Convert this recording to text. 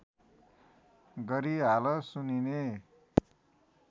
गरी हाल सुनिने